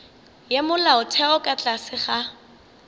ya molaotheo ka tlase ga